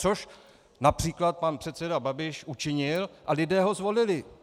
Což například pan předseda Babiš učinil a lidé ho zvolili.